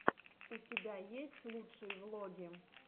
у тебя есть лучшие влоги